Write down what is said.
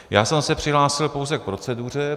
Já jsem se přihlásil pouze k proceduře.